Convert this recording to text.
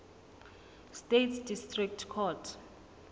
states district court